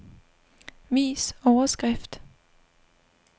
Vis overskrift.